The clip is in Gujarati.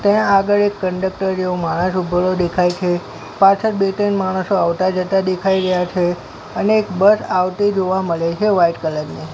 ત્યાં આગળ એક કંડકટર જેવો માણસ ઉભેલો દેખાય છે પાછળ બે ત્રણ માણસો આવતા જતા દેખાય રહ્યા છે અને એક બસ આવતી જોવા મળે છે વ્હાઇટ કલર ની.